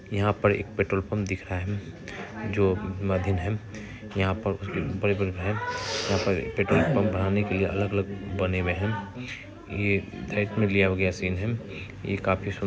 यहाँ पर एक पेट्रोल पंप दिख रहा है जो मधिन है यहाँ पर बड़े बड़े यहाँ पर पेट्रोल पंप बनाने के लिए अलग अलग बने हुए हैं ये ये काफी सुं--